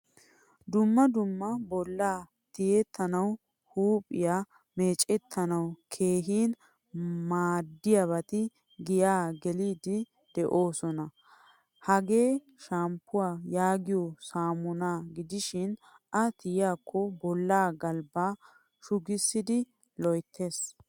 Dumma dumma bolla tiyettanawu huuphphiyaa meecewttanawu keehin maadiyabati giyan gelidi deosona. Hagee shammpuwaa yaagiyo saamuna gidishin a tiyettiko bolla galbba shugisidi loyttees.